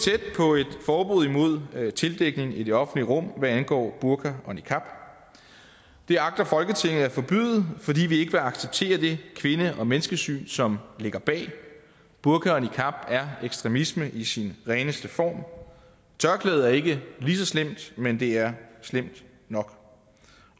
forbud imod tildækning i det offentlige rum hvad angår burka og niqab det agter folketinget at forbyde fordi vi ikke vil acceptere det kvinde og menneskesyn som ligger bag burka og niqab er ekstremisme i sin reneste form tørklædet er ikke lige så slemt men det er slemt nok